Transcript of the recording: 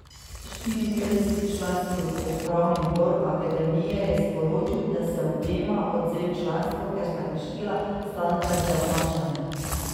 Štiriinpetdesetčlanski upravni odbor akademije je sporočil, da so obema odvzeli članstvo, ker sta kršila standarde obnašanja.